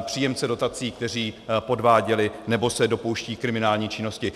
příjemce dotací, kteří podváděli nebo se dopouštějí kriminální činnosti.